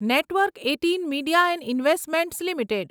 network eighteen Media and Investments limited